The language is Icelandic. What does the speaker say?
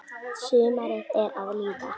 Sumarið er að líða.